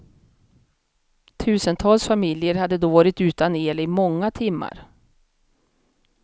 Tusentals familjer hade då varit utan el i många timmar.